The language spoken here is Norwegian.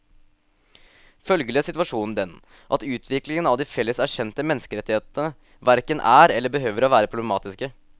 Følgelig er situasjonen den at utviklingen av de felles erkjente menneskerettigheter hverken er eller behøver å være problematiske.